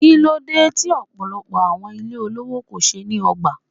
Kíló dé tí ọ̀pọ̀lọpọ̀ awon ilé olówó kò ṣe ní ọgbà?